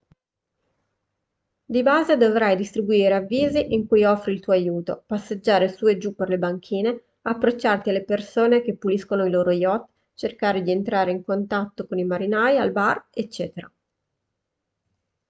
di base dovrai distribuire avvisi in cui offri il tuo aiuto passeggiare su e giù per le banchine approcciarti alle persone che puliscono i loro yacht cercare di entrare in contatto con i marinai al bar eccetera